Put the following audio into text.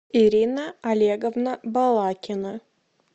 ирина олеговна балакина